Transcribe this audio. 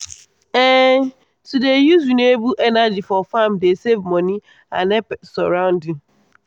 um to dey use renewable energy for farm dey save money and help surrounding.